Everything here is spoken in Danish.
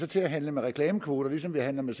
til at handle med reklamekvoter ligesom vi handler med